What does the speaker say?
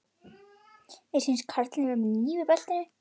Mér sýnist karlinn vera með hníf í beltinu.